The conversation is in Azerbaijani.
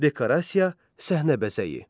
Dekorasiya səhnə bəzəyi.